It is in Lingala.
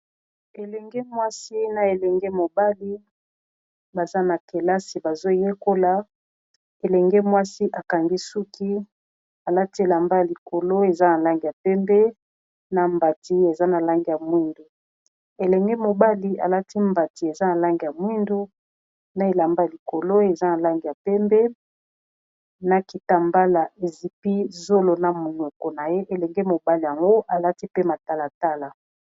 Elenge mwasi na elenge mobali baza na kelasi bazoyekola elenge mwasi akangi suki alati elamba likolo eza na lange ya pembe, na mbati eza na lange ya mwindu elenge mobali alati mbati eza na lange ya mwindu, na elamba likolo eza na lange ya pembe, na kita mbala ezipi zolo na monoko na ye elenge mobali yango alati pe matalatala.